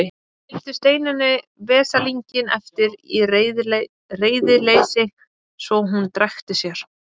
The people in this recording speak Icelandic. Skildi Steinunni veslinginn eftir í reiðileysi svo að hún drekkti sér.